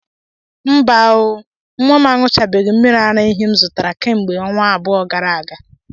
Mba oo! Nwa m añụchabeghị mmiri ara ehi m zụtara kemgbe ọnwa abụọ gara aga